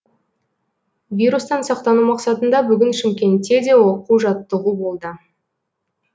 вирустан сақтану мақсатында бүгін шымкентте де оқу жаттығу болды